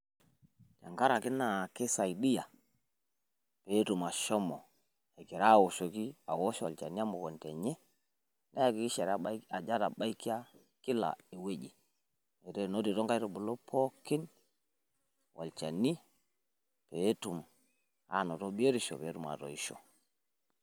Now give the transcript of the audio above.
Tenkaraki naa keisaidia peetum ashomo egira awosh olchani emukunta enye neekikisha ajo etabaikia kila ewueji enotito inkaitubulu pookin olchani peetum aanoto biotisho peetum aatoishio.